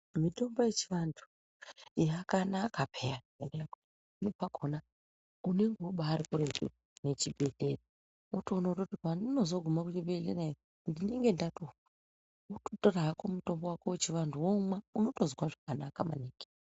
Mitombo yechivantu yakanaka peya pamweni pakona unenge ubari kuretu nechi bhehleya unotoona kuti pandinozoguma kuchibhehlera ndinenge ndatofa. Wototora hako mutombo wako wechivantu womwa, unotozwa zvakanaka.